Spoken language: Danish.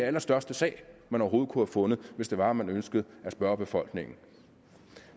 allerstørste sag man overhovedet kunne have fundet hvis det var at man ønskede at spørge befolkningen